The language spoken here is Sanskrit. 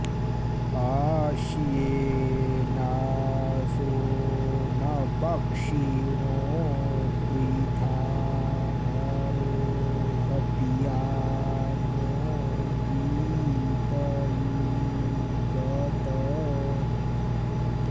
आ श्येनासो न पक्षिणो वृथा नरो हव्या नो वीतये गत